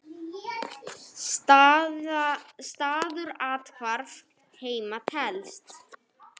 Staður athvarf heima telst.